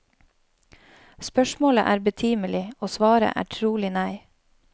Spørsmålet er betimelig, og svaret er trolig nei.